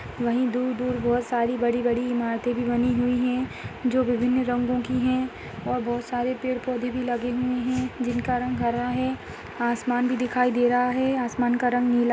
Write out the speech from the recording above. वहीं दूर-दूर बोहोत सारी बड़ी-बड़ी इमारते भी बनी हुई हैं जो विभिन्न रंगो की हैं और बहुत सारे पेड़ पौधे भी लगे हुएं हैं जिनका रंग हरा है आसमान भी दिखाई दे रहा है आसमान का रंग नीला --